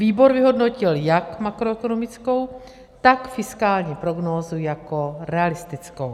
Výbor vyhodnotil jak makroekonomickou, tak fiskální prognózu jako realistickou.